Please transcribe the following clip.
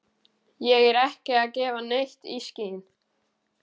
Ég er ekki að gefa neitt í skyn.